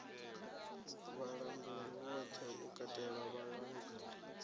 vhalanguli vhoṱhe u katela vhalanguli